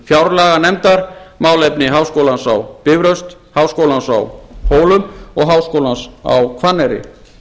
fjárlaganefndar málefni háskólans á bifröst háskólans á hólum og háskólans á hvanneyri